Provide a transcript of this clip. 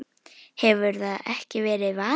hefur það ekki verið vaninn?